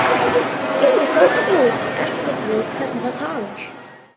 Get séð fólk út eftir því hvernig það talar.